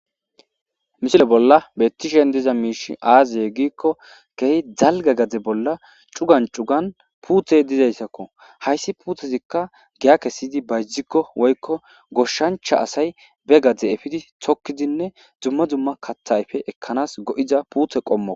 Misile bolla bettishen diza miishi aazaye giikko gehi dzalga gade bolla cugan cugan puuthey dizayssakko hayssi puutezikka giyake siydi bayzikko woykko goshshancha asay be gade efidi tokkidinne dzumma dzumma kathayfe ekkanas go7iza puuthe qommo.